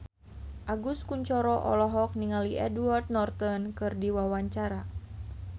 Agus Kuncoro olohok ningali Edward Norton keur diwawancara